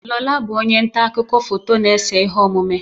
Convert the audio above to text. Lola bụ onye nta akụkọ foto na-ese ihe omume.